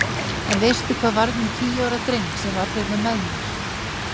En veistu hvað varð um tíu ára dreng sem var hérna með mér?